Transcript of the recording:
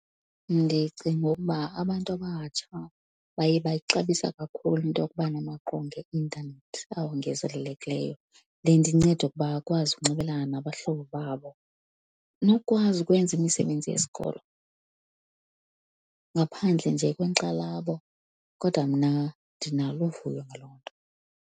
Ndicinga ukuba abantu abatsha baye bayixabisa kakhulu into yokuba namaqonga eintanethi awongezelelekileyo. Le nto inceda ukuba akwazi ukunxibelelana nabahlobo babo, nokukwazi ukwenza imisebenzi yesikolo ngaphandle nje kwenkxalabo. Kodwa mna ndinalo uvuyo ngaloo nto.